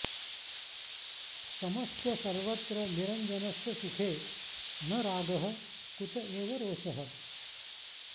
समस्य सर्वत्र निरञ्जनस्य सुखे न रागः कुत एव रोषः